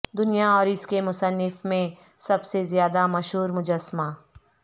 دنیا اور اس کے مصنف میں سب سے زیادہ مشہور مجسمہ